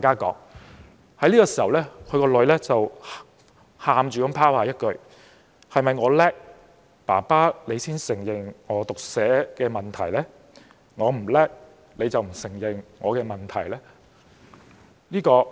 這時，他的女兒哭着拋下一句："是否我強，爸爸你才承認我有讀寫問題？我不強，你便不承認我的問題？